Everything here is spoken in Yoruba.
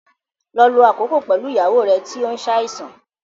Lọ lo àkókò pẹ̀lú ìyàwó rẹ tí ó ń ṣàìsàn